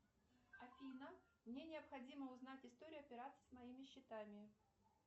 афина мне необходимо узнать историю операций с моими счетами